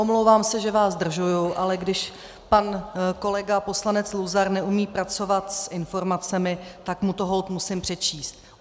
Omlouvám se, že vás zdržuji, ale když pan kolega poslanec Luzar neumí pracovat s informacemi, tak mu to holt musím přečíst.